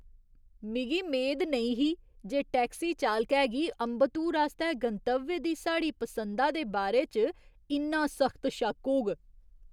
मिगी मेद नेईं ही जे टैक्सी चालकै गी अम्बत्तूर आस्तै गंतव्य दी साढ़ी पसंदा दे बारे च इन्ना सख्त शक होग।